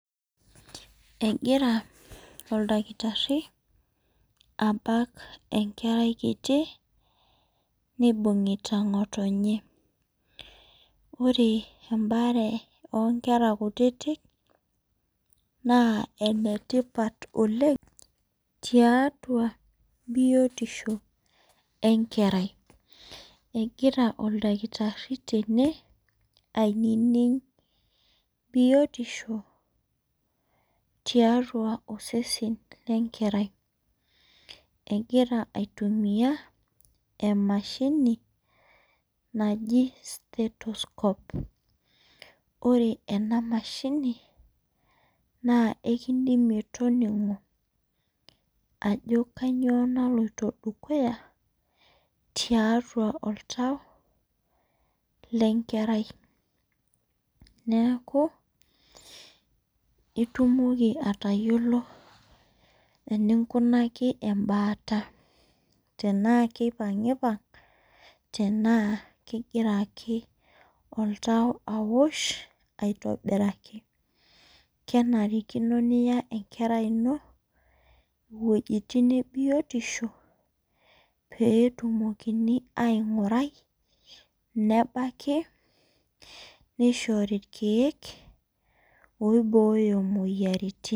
Egira oldakitari abak enkerai kkiti nibungita ngotonye ore embaare onkera kutitik na enetipat oleng tiatua biotisho enkerai egira oldakitari tene aining biotisho tiatua osese lenkerai egira aitumiabemanmahini naji steroscope ore enamashini na ekincho toningo ajo kanyio naloito dukuya tiatua oltau lenkerai neaku itumoki atayiolo enkinkunali embaata tanaa kipangipang ana kegira oltu aosh aitobiraki kenarikino niya enkerai ino wuejitin ebiotisho petumokini aingurai nebaki nishori irkiek oibooyo moyiaritin.